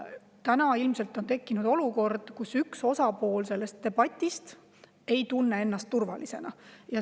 Praegu ilmselt on tekkinud olukord, kus üks osapool selles debatis ei tunne ennast turvalisena.